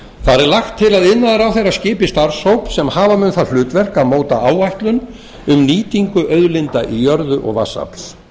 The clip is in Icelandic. er lagt til að iðnaðarráðherra skipi starfshóp sem hafa mun það hlutverk að móta áætlun um nýtingu auðlinda í jörðu og vatnsafls